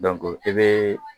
i bɛ